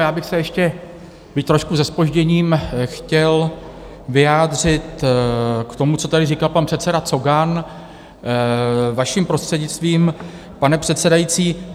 Já bych se ještě, byť trošku se zpožděním, chtěl vyjádřit k tomu, co tady říkal pan předseda Cogan, vaším prostřednictvím, pane předsedající.